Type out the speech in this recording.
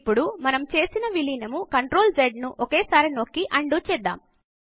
ఇప్పుడు మనము చేసిన విలీనంను CTRLZ ను ఒకేసారి నొక్కి ఉండో చేద్దాము